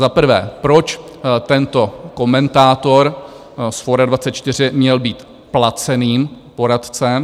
Za prvé, proč tento komentátor z Forum24 měl být placeným poradcem?